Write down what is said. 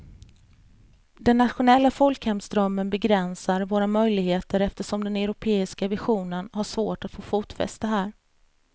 Den nationella folkhemsdrömmen begränsar våra möjligheter eftersom den europeiska visionen har svårt att få fotfäste här.